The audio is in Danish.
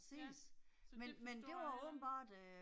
Ja, så det forstår jeg heller ikke